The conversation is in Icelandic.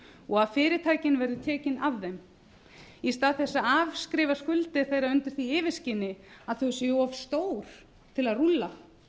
og fyrirtækin verði tekin af þeim í stað þess að afskrifa skuldir þeirra undir því yfirskini að þau séu of stór til að rúlla